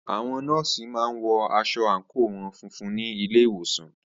Àwọn nọ́ọ̀sì má ń wọ aṣọ àńkò wọn funfun ní ilé ìwòsàn